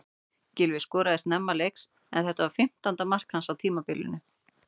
Gylfi skoraði snemma leiks en þetta var fimmtánda mark hans á tímabilinu.